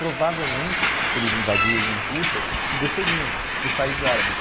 Provavelmente eles invadiriam Rússia e desceriam para os países árabes.